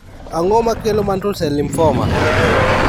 Ang'o makelo Mantle cell lymphoma